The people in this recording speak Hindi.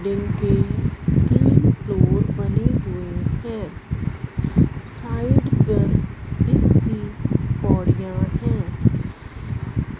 बिल्डिंग तीन फ्लोर बनी हुई है साइड में इसकी पौडिया हैं।